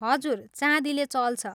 हजुर, चाँदीले चल्छ।